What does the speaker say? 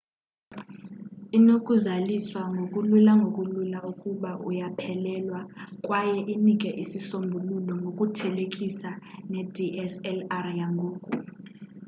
inokuzaliswa ngokulula ngokulula ukuba uyaphelelwa kwaye inike isisombululo ngokuthelekisa nedslr yangoku